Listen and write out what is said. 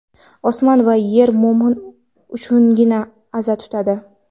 Osmon va yer mo‘min uchungina aza tutadi.